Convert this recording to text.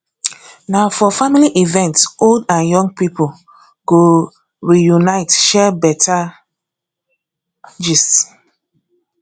na for family event old and young people go reunite share better gist